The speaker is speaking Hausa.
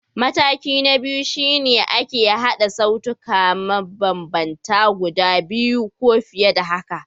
Mataki na biyu shi ne ake haɗa sautuka mabambanta guda biyu ko fiye da haka.